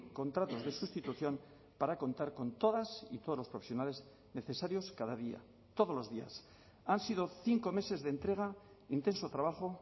contratos de sustitución para contar con todas y todos los profesionales necesarios cada día todos los días han sido cinco meses de entrega intenso trabajo